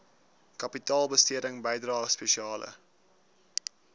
kapitaalbesteding bydrae spesiale